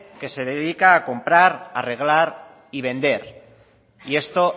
que se dedica a comprar arreglar y vender y esto